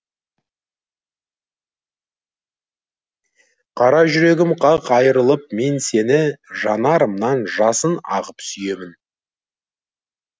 қара жүрегім қақ айырылып мен сені жанарымнан жасын ағып сүйемін